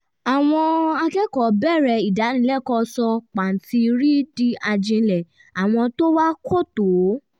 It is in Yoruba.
àwọn akẹ́kọ̀ọ́ bẹ̀rẹ̀ ìdánilẹ́kọ̀ọ́ sọ pàǹtírí di ajílẹ̀ àwọn tó wá kò tó